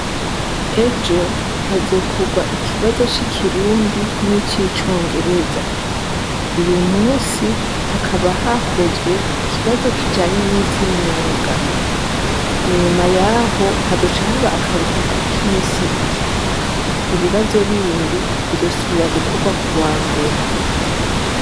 Ejo hazokorwa ikibazo c'ikirundi nic'icongereza. Uyu munsi hakaba hakozwe ikibazo kijanye nivy'imyuga. Inyuma y'aho hazoca haba akaruhuko k'imisi ibiri. Ibibazo bindi bizosubira gukorwa kuwa mbere.